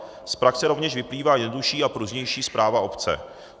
Z praxe rovněž vyplývá jednodušší a pružnější správa obce.